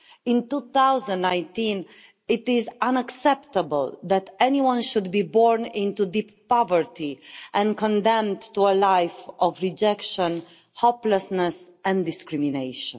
In 2019 it is unacceptable that anyone should be born into deep poverty and condemned to a life of rejection, hopelessness and discrimination.